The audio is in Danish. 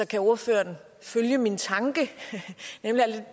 kan ordføreren følge min tanke nemlig at